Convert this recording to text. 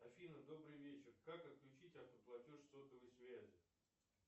афина добрый вечер как отключить автоплатеж сотовой связи